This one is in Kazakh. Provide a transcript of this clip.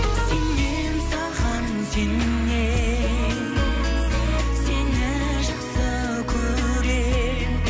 сенемін саған сенемін сені жақсы көремін